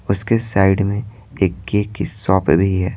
उसके साइड में एक केक की शॉप भी है।